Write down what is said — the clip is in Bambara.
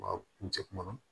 Wa kuncɛ kuma